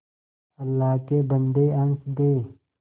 अल्लाह के बन्दे हंस दे